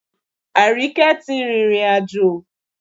Àríkẹ́ tí rìrìn àjò